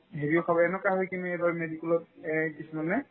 হেৰিও খাব এনেকুৱা হৈ কিনে এইবাৰ medical ত